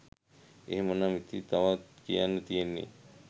එහෙමනම් ඉතිං තව කියන්න තියෙන්නේ